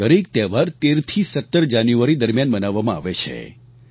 આ દરેક તહેવાર 13 થી 17 જાન્યુઆરી દરમિયાન મનાવવામાં આવે છે